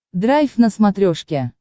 драйв на смотрешке